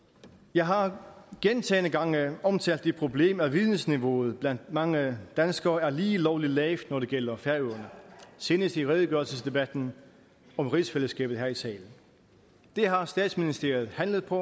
jeg har gentagne gange omtalt det problem at vidensniveauet blandt mange danskere er lige lovlig lavt når det gælder færøerne senest i redegørelsesdebatten om rigsfællesskabet her i salen det har statsministeren handlet på